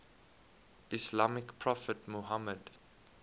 islamic prophet muhammad